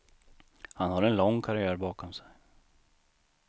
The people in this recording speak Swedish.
Han har en lång karriär bakom sig.